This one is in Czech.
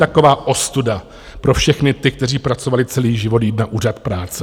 Taková ostuda pro všechny ty, kteří pracovali celý život, jít na Úřad práce.